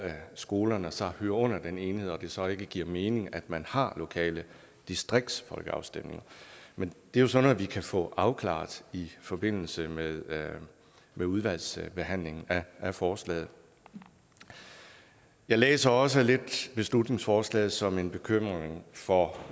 skolerne så hører under den enhed og hvor det så ikke giver mening at man har lokale distriktsfolkeafstemninger men det er jo sådan noget vi kan få afklaret i forbindelse med med udvalgsbehandlingen af forslaget jeg læser også beslutningsforslaget lidt som en bekymring for